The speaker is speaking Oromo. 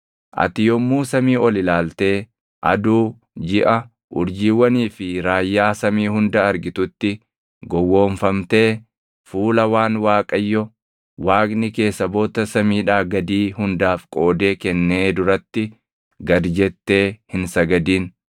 Ati yommuu samii ol ilaaltee aduu, jiʼa, urjiiwwanii fi raayyaa samii hunda argitutti gowwoomfamtee fuula waan Waaqayyo Waaqni kee saboota samiidhaa gadii hundaaf qoodee kennee duratti gad jettee hin sagadin.